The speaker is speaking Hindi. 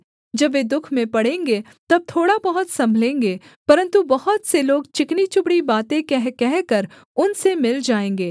जब वे दुःख में पड़ेंगे तब थोड़ा बहुत सम्भलेंगे परन्तु बहुत से लोग चिकनीचुपड़ी बातें कह कहकर उनसे मिल जाएँगे